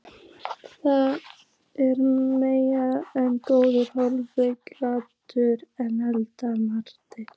Það er meira en góðu hófi gegnir að Eddu mati.